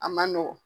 A man nɔgɔn